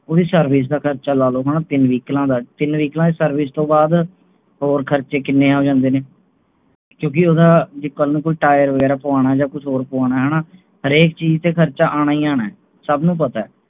ਓਹਦੀ service ਦਾ ਖਰਚਾ ਲਾਓਲੋ ਤੀਨ ਵਹੀਕਲਾਂ ਦਾ ਤੀਨ vehicle ਦੀ service ਤੋਂ ਬਾਅਦ ਹੋਰ ਖਰਚੇ ਕਿੰਨੇ ਆ ਜਾਂਦੇ ਨੇ ਕਿਉਂਕਿ ਉਹਦਾ ਜੇ ਕਲ ਨੂੰ ਕੋਈ tire ਵਗੈਰਾ ਪਵਾਉਣਾ ਹੈ ਜਾਂ ਕੁਝ ਹੋਰ ਪਵਾਉਣਾ ਹੈ ਹੋਣਾ ਹਰੇਕ ਚੀਜ ਤੇ ਖਰਚਾ ਅਉਣਾ ਹੀ ਅਉਣਾ ਹੈ, ਸਭ ਨੂੰ ਪਤਾ ਹੈ